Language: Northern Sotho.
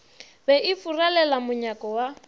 be e furalela monyako wa